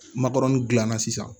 Makɔrɔni dilanna sisan